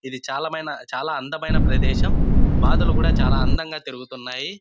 ఇది చాలా మైన చాలా అందమైన ప్రదేశం. బాతులు కూడా చాలా అందంగా తిరుగుతున్నాయి.